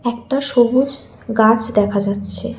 একটা সবুজ গাছ দেখা যাচ্ছে।